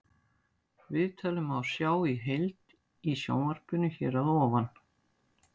Viðtalið má sjá í heild í sjónvarpinu hér að ofan.